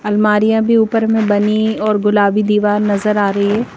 अलमारियां भी ऊपर हमें बनी और गुलाबी दीवार नजर आ रही है।